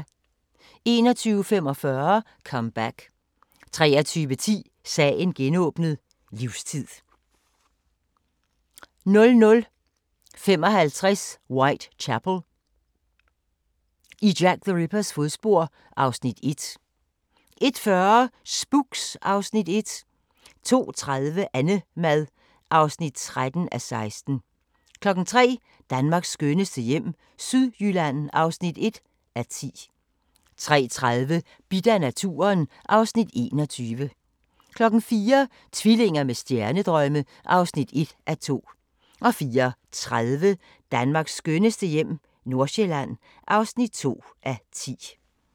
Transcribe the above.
21:45: Comeback 23:10: Sagen genåbnet: Livstid (12:91) 00:55: Whitechapel: I Jack the Rippers fodspor (Afs. 1) 01:40: Spooks (Afs. 1) 02:30: Annemad (13:16) 03:00: Danmarks skønneste hjem - Sydjylland (1:10) 03:30: Bidt af naturen (Afs. 21) 04:00: Tvillinger med stjernedrømme (1:2) 04:30: Danmarks skønneste hjem - Nordsjælland (2:10)